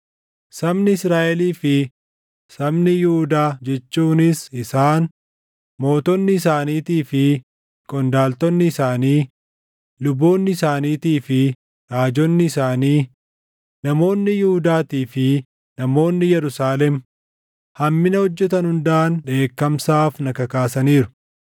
Sabni Israaʼelii fi sabni Yihuudaa jechuunis isaan, mootonni isaaniitii fi qondaaltonni isaanii, luboonni isaaniitii fi raajonni isaanii, namoonni Yihuudaatii fi namoonni Yerusaalem hammina hojjetan hundaan dheekkamsaaf na kakaasaniiru.